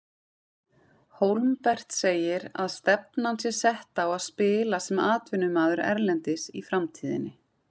Hólmbert segir að stefnan sé sett á að spila sem atvinnumaður erlendis í framtíðinni.